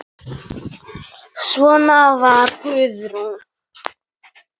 Svona var Guðrún.